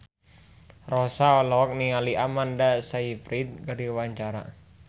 Rossa olohok ningali Amanda Sayfried keur diwawancara